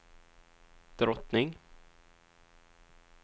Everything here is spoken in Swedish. drottning